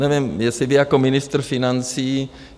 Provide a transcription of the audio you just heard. Nevím, jestli vy jako ministr financí...